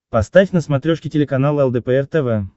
поставь на смотрешке телеканал лдпр тв